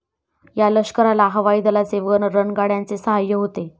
या लष्कराला हवाई दलाचे व रणगाड्यांचे सहाय्य होते.